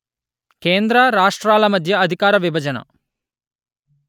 కేంద్ర రాష్ట్రాల మద్య అధికార విభజన